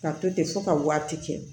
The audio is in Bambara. Ka to ten fo ka waati kɛ